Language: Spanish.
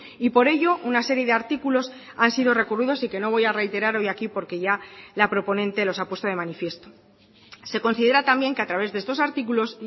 y por ello una serie de artículos han sido recurridos y que no voy a reiterar hoy aquí porque ya la proponente los ha puesto de manifiesto se considera también que a través de estos artículos